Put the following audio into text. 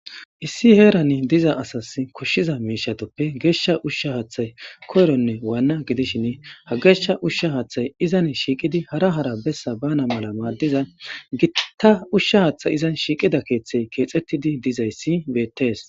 issi heerani diza asas koshshiza miishatuppe geeshsha ushsha haaththay koyronne waanna gidishin ha geeshsha ushsha haaththay izan shiiqidi hara hara bessa bana mala maaddiza gittta ushsha haaththay izan shiiqida keeththey keexettidi dizayssi beetees